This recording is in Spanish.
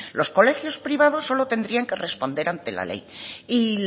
los colegios privados solo tendrían que responder ante la ley y